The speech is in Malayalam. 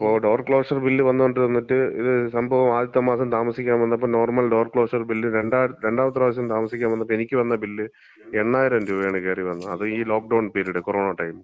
അപ്പം ഡോർ ക്ലോഷർ ബില്ല് വന്നോണ്ടിരുന്നിട്ട്, ഇത് സംഭവം ആദ്യത്തെ മാസം താമസിക്കാൻ വന്നപ്പം നോർമൽ ഡോർ ക്ലോഷർ ബില്ല് രണ്ടാ, രണ്ടാമത്തെ പ്രാവശ്യം താമസിക്കാൻ വന്നപ്പം എനിക്ക് വന്ന ബില്ല് 8000 രൂപയാണ് കേറി വന്നത്. അതും ഈ ലോക്ഡൗൺ പിരീഡ്, കൊറോണ ടൈമ്,